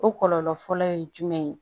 O kɔlɔlɔ fɔlɔ ye jumɛn ye